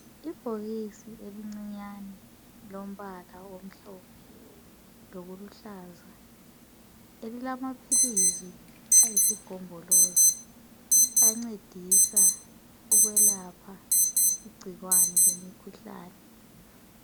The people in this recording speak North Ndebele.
Ibhokisi elincinyane lombala omhlophe lokuluhlaza elilamaphilisi ayisi gombolozi ancedisa ukwelapha igcikwane lemikhuhlane.